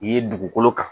Ye dugukolo kan